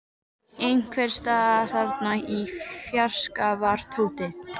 Dalla, hvenær kemur strætó númer fjörutíu og tvö?